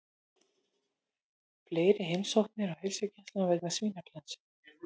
Fleiri heimsóknir á heilsugæslu vegna svínaflensu